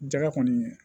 Jɛgɛ kɔni